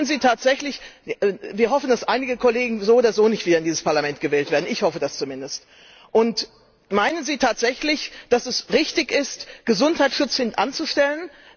Wollen Sie tatsächlich wir hoffen, dass einige Kollegen so oder so nicht wieder in dieses Parlament gewählt werden, ich hoffe das zumindest meinen Sie tatsächlich, dass es richtig ist, Gesundheitsschutz hintanzustellen?